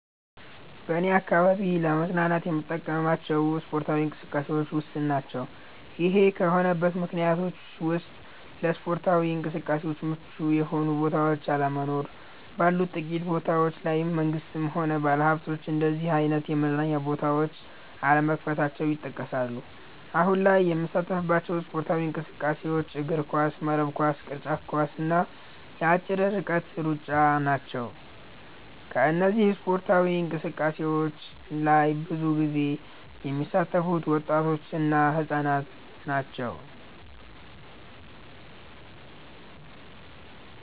በኔ አካባቢ ለመዝናናት የምንጠቀምባቸው ስፓርታዊ እንቅስቃሴዎች ውስን ናቸ። ይሄ ከሆነበት ምክንያቶች ውስጥ ለስፓርታዊ እንቅስቃሴዎች ምቹ የሆኑ ቦታዎች አለመኖር፣ ባሉት ጥቂት ቦታዎች ላይም መንግስትም ሆነ ባለሀብቶች እንደነዚህ አይነት የመዝናኛ ቦታዎች አለመክፈታቸው ይጠቀሳሉ። አሁን ላይ የምንሳተፍባቸው ስፖርታዊ እንቅስቃሴዎች እግርኳስ፣ መረብ ኳስ፣ ቅርጫት ኳስ እና የአጭር ርቀት ሩጫ ናቸው። በእነዚህ ስፓርታዊ እንቅስቃሴዎች ላይ ብዙ ጊዜ የሚሳተፉት ወጣቶች እና ህፃናት ናቸው።